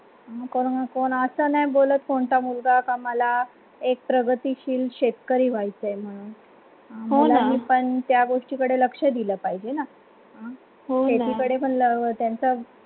कोणाचा न बोलत कोणता मुलगा मला एक प्रगतीशील शेतकरी व्हायचे म्हणून हो न मुलाणा पण त्या गोष्टीकडे लक्ष दिलं पाहिजे ना शेतीकडे पन त्यांचा